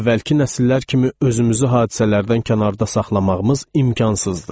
Əvvəlki nəsillər kimi özümüzü hadisələrdən kənarda saxlamağımız imkansızdır.